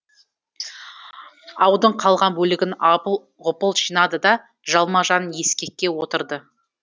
аудың қалған бөлігін апыл ғұпыл жинады да жалма жан ескекке отырды